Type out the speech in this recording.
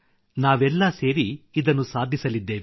ನಾವೆಲ್ಲ ಸೇರಿ ಇದನ್ನು ಸಾಧಿಸಲಿದ್ದೇವೆ